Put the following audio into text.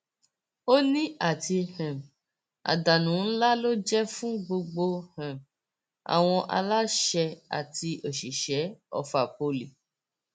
ó ní àti um àdánù ńlá ló jẹ fún gbogbo um àwọn aláṣẹ àti òṣìṣẹ ọfà poli